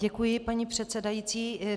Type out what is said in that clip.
Děkuji, paní předsedající.